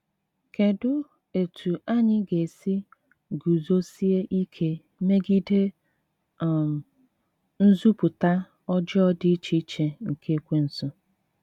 Kedụ etú anyị ga esi ‘ guzosie ike megide um nzupụta ọjọọ dị iche iche nke Ekwensu ’?